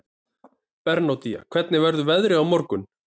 Bernódía, hvernig verður veðrið á morgun?